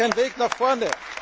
Das ist kein Weg nach vorne.